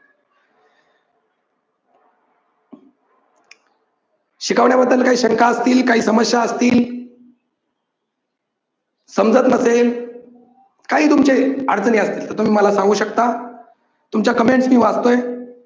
शिकवण्या बद्दल काही शंका असतील, काही समस्या असतील, समजत नसेल काही तुमचे अडचणी असतील तर तुम्ही मला सांगू शकता. तुमच्या comments मी वाचतोय